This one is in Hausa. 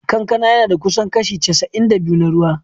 Kankana yana da kusan kashi casa’in da biyu na ruwa.